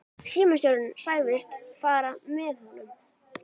Símstjórinn sagðist fara með honum.